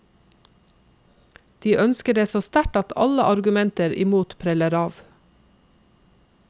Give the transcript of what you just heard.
De ønsker det så sterkt at alle argumenter imot preller av.